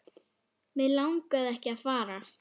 Mig langaði ekki að fara.